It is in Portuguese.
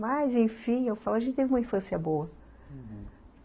Mas enfim, eu falo, a gente teve uma infância boa, uhum.